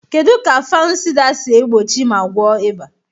Kedu ka Fanusida si egbochi ma gwọọ ịba?